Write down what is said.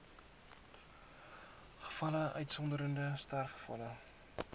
gevalle uitgesonderd sterfgevalle